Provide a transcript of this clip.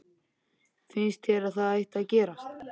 Finnst þér að það ætti að gerast?